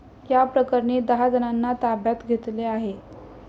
याप्रकरणी दहाजणांना ताब्यात घेतले आहे.